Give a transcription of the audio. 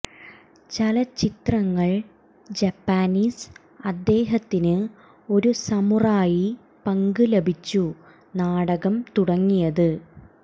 ചലച്ചിത്രങ്ങൾ ജാപ്പനീസ് അദ്ദേഹത്തിന് ഒരു സമുറായി പങ്ക് ലഭിച്ചു നാടകം തുടങ്ങിയത്